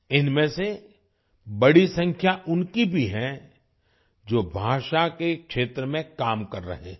इनमें से बड़ी संख्या उनकी भी है जो भाषा के क्षेत्र में काम कर रहे हैं